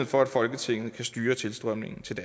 for at folketinget kan styre tilstrømningen til